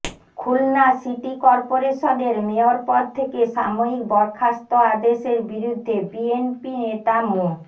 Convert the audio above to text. Khulna city করপোরেশনের mayor পদ থেকে সাময়িক বরখাস্ত আদেশের বিরুদ্ধে বিএনপি নেতা মো